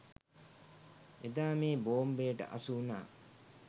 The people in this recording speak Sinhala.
එදා මේ බෝම්බයට හසුවුණා.